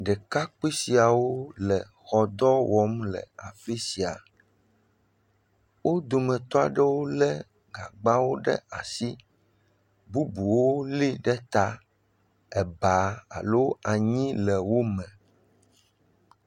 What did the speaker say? Ɖekakpui siawo le xɔ dɔ wɔm le afi sia wodometɔ aɖewo le gagbãwo ɖe asi ke bubuwo li ɖeta ba alo anyi le wome